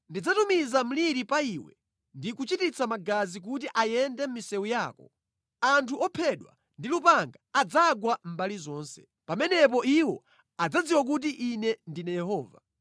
Ndidzatumiza mliri pa iwe ndi kuchititsa magazi kuti ayende mʼmisewu yako. Anthu ophedwa ndi lupanga adzagwa mbali zonse. Pamenepo iwo adzadziwa kuti Ine ndine Yehova.